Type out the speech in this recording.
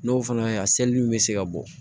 N'o fana ye a selili bɛ se ka bɔ